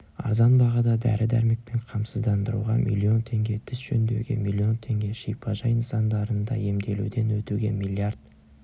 арзан бағада дәрі-дәрмекпен қамсыздандыруға миллион теңге тіс жөндеуге миллион теңге шипажай нысандарында емделуден өтуге миллиард